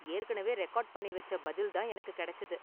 ஏற்கனவே ரெகார்டு பண்ணி வெச்ச பதில் தான் எனக்கு கெடைச்சது.